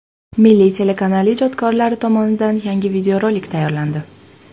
Milliy telekanali ijodkorlari tomonidan yangi videorolik tayyorlandi.